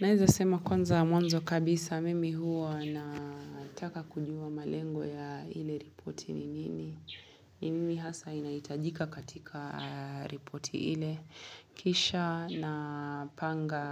Naweza sema kwanza mwanzo kabisa mimi huwa nataka kujuwa malengo ya ile ripoti ni nini. Ni nini hasa inahitajika katika ripoti ile. Kisha napanga